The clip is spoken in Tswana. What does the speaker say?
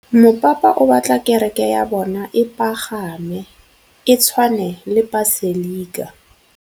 Mopapa o batla kereke ya bone e pagame, e tshwane le paselika.